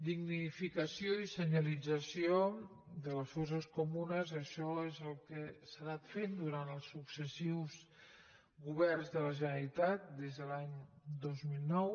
dignificació i senyalització de les fosses comunes això és el que s’ha anat fent durant els successius governs de la generalitat des de l’any dos mil nou